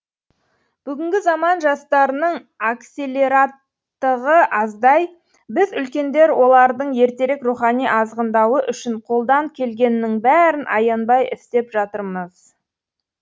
бүгінгі заман жастарының акселераттығы аздай біз үлкендер олардың ертерек рухани азғындауы үшін қолдан келгеннің бәрін аянбай істеп жатырмыз